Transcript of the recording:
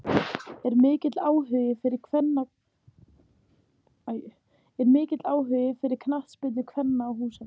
Er mikill áhugi fyrir knattspyrnu kvenna á Húsavík?